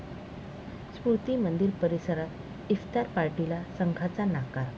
स्मृती मंदिर परिसरात इफ्तार पार्टीला संघाचा नकार!